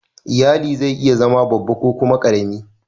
lyalli zai iya zama babba ko kuma karemi.